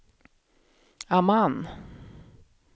Amman